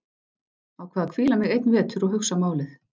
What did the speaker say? Ákvað að hvíla mig einn vetur og hugsa málið.